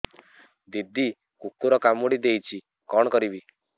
ଦିଦି କୁକୁର କାମୁଡି ଦେଇଛି କଣ କରିବି